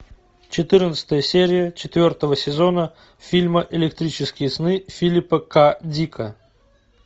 четырнадцатая серия четвертого сезона фильма электрические сны филипа к дика